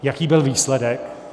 Jaký byl výsledek?